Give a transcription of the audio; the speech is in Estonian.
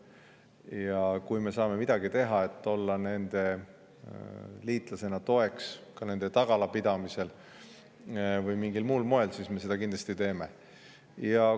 Ja kui me saame midagi teha, et olla nende liitlasena toeks ka nende tagala pidamisel või mingil muul moel, siis me seda kindlasti teeme.